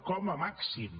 com a màxim